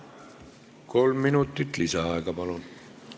Kolm minutit lisaaega, palun!